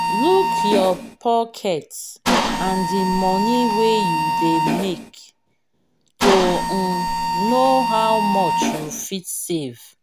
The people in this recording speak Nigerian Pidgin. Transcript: look your pocket and di money wey you dey make to um know how much you fit save